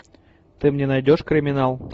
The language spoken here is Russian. ты мне найдешь криминал